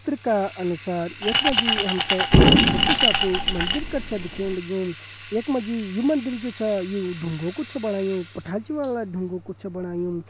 इ चित्र का अनुसार यखमा जी हमथे एक छोट्टु शा कु मंदिर कर छ दिखेण लग्यूं यखमा जी यु मंदिर जु छा यु ढुङ्गो को छ बणायु पठाल ची वाला ढुङ्गो कु छ बणायुँ।